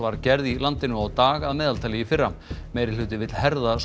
var gerð í landinu á dag að meðaltali í fyrra meirihluti vill herða